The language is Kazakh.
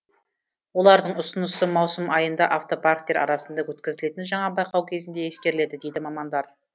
олардың ұсынысы маусым айында автопарктер арасында өткізілетін жаңа байқау кезінде ескеріледі дейді мамандар